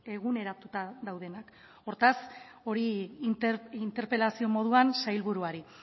eguneratuta daudenak hortaz hori interpelazio moduan sailburuari